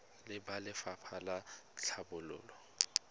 le ba lefapha la tlhabololo